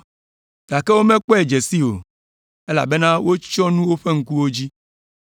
Gake womekpɔe dze si o, elabena wotsyɔ̃ nu woƒe ŋkuwo dzi.